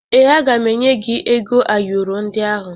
Ee, aga m enye gị ego ayọrọ ndị ahụ